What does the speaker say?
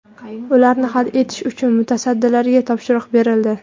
Ularni hal etish uchun mutasaddilarga topshiriq berildi.